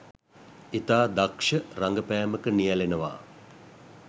ඉතා දක්ෂ රඟපෑමක නියලෙනවා